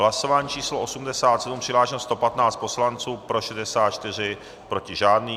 Hlasování číslo 87, přihlášeno 115 poslanců, pro 64, proti žádný.